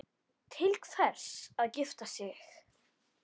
Til hvers að gifta sig?